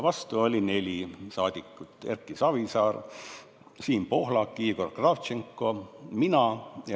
Vastu olid neli saadikut: Erki Savisaar, Siim Pohlak, Igor Kravtšenko ja mina.